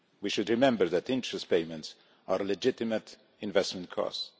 We should remember that interest payments are legitimate investment costs.